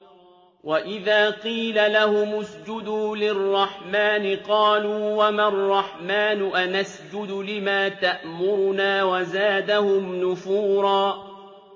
وَإِذَا قِيلَ لَهُمُ اسْجُدُوا لِلرَّحْمَٰنِ قَالُوا وَمَا الرَّحْمَٰنُ أَنَسْجُدُ لِمَا تَأْمُرُنَا وَزَادَهُمْ نُفُورًا ۩